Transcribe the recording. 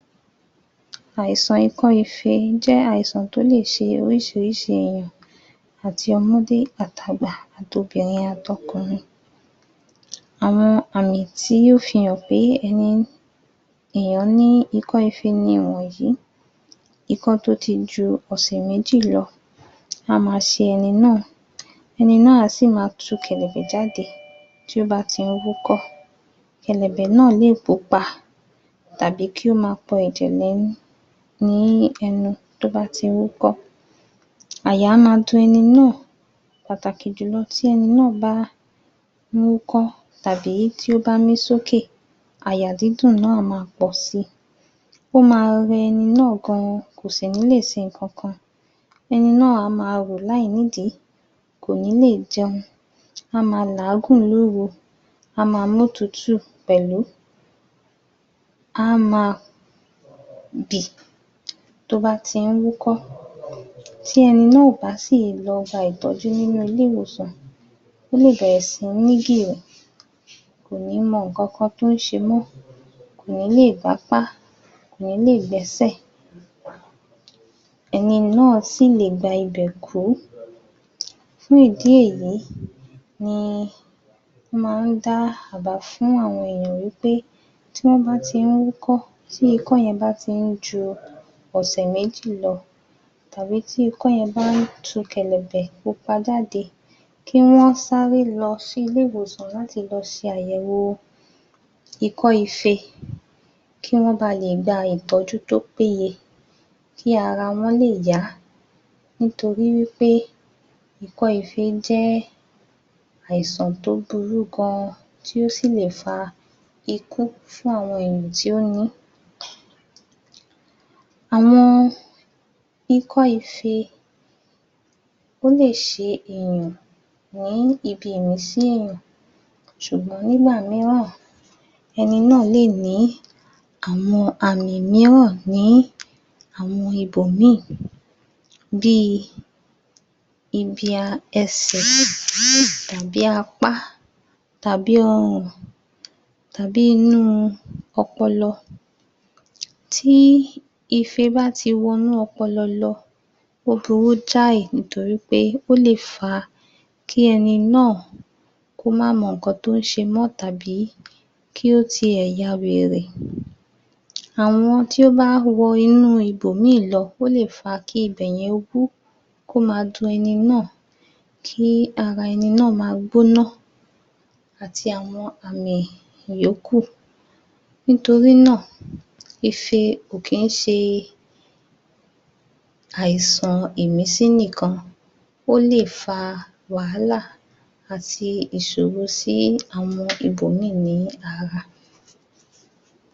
Àìsàn ikọ́ ife jẹ́ àìsàn tó lè ṣe oríṣiríṣi èèyàn, àti ọmọdé at'àgbà at'obìnrin àt'ọkùnrin, àwọn àmì tí ó fi hàn pé ẹni èèyàn ní ikọ́ ife nìwọ̀nyi ikọ́ tó ti ju ọ̀sẹ̀ méjì lọ, á ma ṣe ẹni náà ẹni náà ẹni á sì máa tu kẹ̀lẹ̀bẹ̀ jáde tí ó bá ti ń wúkọ́, kẹ̀lẹ̀bẹ̀ náà lè pupa tàbí kí ó máa pọ ẹ̀jẹ̀ lẹ́nu ní ẹnu tó bá ti wúkọ́, àyà á máa dun ẹni náà. Pàtàkì jùlọ tí ẹni náà bá ń wúkọ́ tàbí tí ó bá mí sókè àyà dídùn náà máa pọ̀si. Ó ma rẹ ẹni náà gan kò sì ní lè ṣe nǹkan kan, ẹni náà a máa wò láìnídìí kò ní lè jẹun, á ma làágùn lóru á ma mótùútù pẹ̀lú á máa bì tó bá ti ń wúkọ́, tí ẹni náà ò bá lọ gba ìtọ́jú nínú ilé ìwòsàn, ó lè bẹ̀rẹ̀ sí ní bì o kò ní mọ nǹkan kan tó ń ṣe mọ́, kò ní lè gbápá kò ní lè gbẹ́sè, ẹni náà sì lè gba ibẹ̀ kú fún ìdí èyí ni wọ́n máa ń dá àbá fún àwọn ènìyàn wí pé tí wọ́n bá ti ń wúkọ́ tí ikọ́ yẹn bá ti ń ju ọ̀sẹ̀ méjì lọ tàbí tí ikọ́ yẹn bá ń tu kẹ̀lẹ̀bẹ̀ pupa jáde, kí wọ́n sáré lọ sí ilé ìwòsàn láti lọ ṣe àyẹ̀wòo ikọ́ ife, kí wọ́n ba lè gba ìtọ́jú tó péye kí ara wọ́n lè yá nitori wí pé ikọ́ ife jẹ́ àìsàn tó burú gan tí ó sì lè fa ikú fún àwọn ènìyàn tí ó ní. Àwọn ikọ́ ife ó lè ṣe èèyàn ní ibi ìrìnsí èèyàn ṣùgbọ́n nígbà mìíràn ẹni náà lè ní àwọn àmì mìíràn ní àwọn ibòmíì bìi ibi um ẹsè tàbí apá tàbí ọrùn tàbí inú un ọpọlọ. Tíi ife bá ti wọ inú ọpọlọ lọ, ó burú jáì nitori pé ó lè fa kí ẹni náà kó má mọ nǹkan tó ń ṣe mọ́ tàbí kí ó ti ẹ̀ yawèrè àwọn tí ó bá wọ inú ibòmíì lọ, ó lè fa kí ibẹ̀yẹn ó bú kó máa dun ẹni náà kí ara ẹni náà ma gbóná àti àwọn àmì ìyókùn nítorí náà ife ò kí ń ṣe àìsàn ìmísí nìkan, ó lè fa wàhálà àti ìṣòro sí àwọn ibò míì ní ara